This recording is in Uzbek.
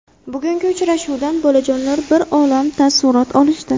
Bugungi uchrashuvdan bolajonlar bir olam taassurot olishdi.